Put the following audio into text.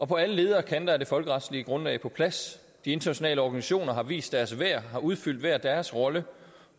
på alle leder og kanter er det folkeretslige grundlag på plads de internationale organisationer har vist deres værd og har udfyldt hver deres rolle